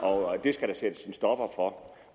og at det skal der sættes en stopper for